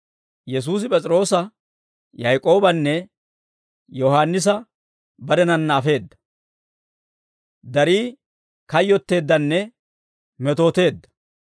Yesuusi P'es'iroosa, Yaak'oobanne Yohaannisa barenanna afeedda; darii kayyotteeddanne metooteedda.